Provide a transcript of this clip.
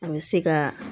An bɛ se ka